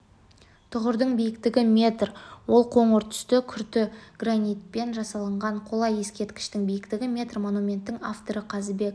тұғырдың биіктігі метр ол қоңыр түсті күрті гранитінен жасалынған қола ескерткіштің биіктігі метр монументтің авторы қазыбек